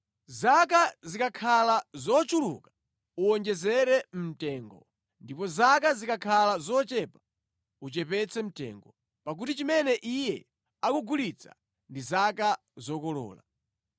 Zaka zikakhala zochuluka, uwonjezere mtengo, ndipo zaka zikakhala zochepa, uchepetse mtengo, pakuti chimene iye akukugulitsa ndi zaka zokolola.